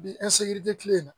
Bi kile